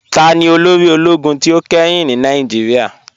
Tani olóri òlógún tí o kẹ́hìn ní Nàìjíríà?